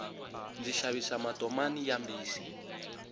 ndzi xavisa matomani ya mbisi